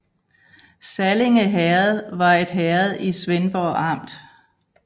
Sallinge Herred var et herred i Svendborg Amt